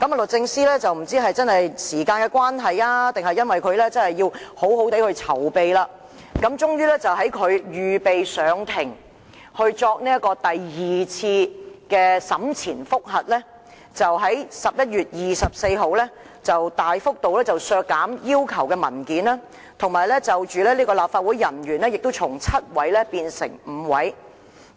律政司不知是否因時間關係，還是要好好地籌備，最終要到預備上庭作第二次審前覆核，即11月24日，才大幅度削減要求索取的文件數量，而要求作供的立法會人員數目亦由7位減至5位。